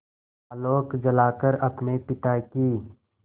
आलोक जलाकर अपने पिता की